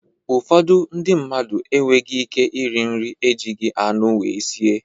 Ụfọdụ ndị mmadụ enweghị ike iri nri ejighị anụ wee sie.